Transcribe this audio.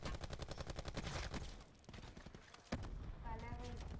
கலவை